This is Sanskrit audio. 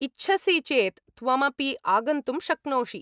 इच्छसि चेत् त्वमपि आगन्तुं शक्नोषि।